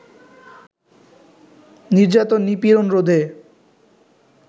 নির্যাতন, নিপীড়ন রোধে